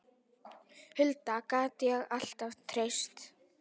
Huldu gat ég alltaf treyst.